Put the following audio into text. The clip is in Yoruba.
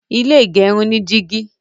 ilé igerun ni jìgì.